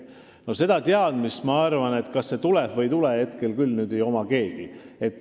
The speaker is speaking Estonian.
Ma arvan, et seda teadmist, kas see tuleb või ei tule täis, ei ole hetkel küll kellelgi.